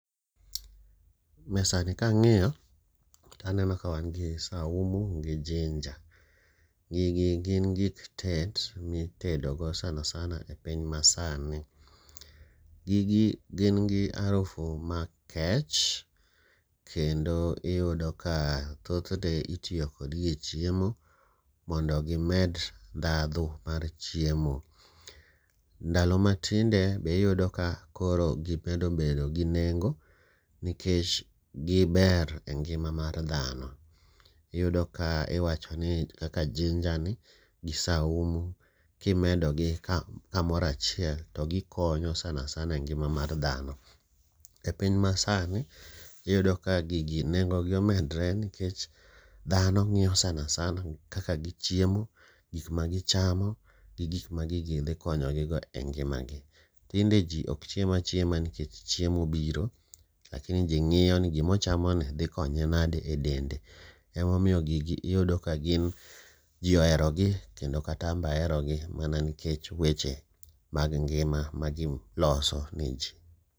Mesani kang'iyo to aneno ka wan gi saumu gi jinja. Gigi gin gik tet ma itedogo sana sana e piny masani. Gigi gin gi arufu makech kendo iyudo ka thothne itiyo kodgi e chiemo mondo gimed ndhadhu mar chiemo. Ndalo matinde be iyudo ni koro gimedo bedo gi nengo nikech giber engima mar dhano. Iyudo ka iwachoni kaka jinani gi saumu kimedogi kamoro achiel to gikonyo sana sana engima mar dhano. Epiny masani iyudo ka gigi nengo gi omedre nikech dhano ng'iyo sana sana kaka gichiemo gik magichamo gi gik ma gigi dhi konyogigo e ngimagi. Tinde ji ok chiem achiema nikech chiemo obiro, lakini ji ng'iyo ni gima ochamoni dhi konye nadi e dende. Ema omiyo gigi iyudo kagin ji oherogi kendo kata an be aherogi to mana nikech weche mag ngima magiloso neji.